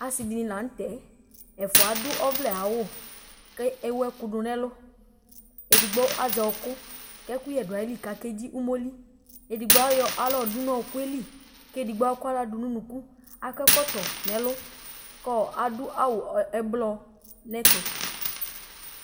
Asiɖìŋí la ŋtɛ: ɛfʋa aɖu ɔvlɛ ayʋ awu kʋ ewu ɛku ɖu ŋu ɛlu Ɛɖigbo azɛ ɔku kʋ ɛkʋɣɛ ɖu iɣili kʋ akaɖzi ʋmoli Ɛɖigbo ayɔ aɣla ɖʋ ŋu ɔkuli kʋ ɛɖigbo akɔ aɣla ɖʋŋʋ ʋnʋku Akɔ ɛkɔtɔ ŋu ɛlu kʋ aɖu awu ɛblɔ ŋu ɛtu